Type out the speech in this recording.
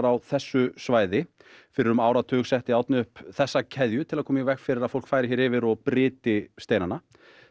á þessu svæði fyrir um áratug setti Árni upp þessa keðju til þess að koma í veg fyrir að fólk færi hér yfir og bryti steinana